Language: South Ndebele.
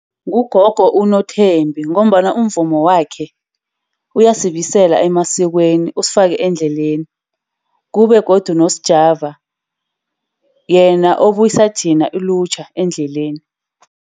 Ngugogo uNothembi, ngombana umvumo wakhe uyasibisela emasikweni, usifake endleleni. Kube godu noSjava, yena obuyisa thina ilutjha endleleni.